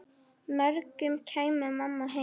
morgun kæmi mamma heim.